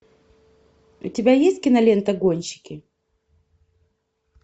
у тебя есть кинолента гонщики